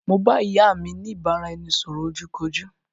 Mo bá ìyá mi ni ìbáraẹnisọ̀rọ̀ ojú kojú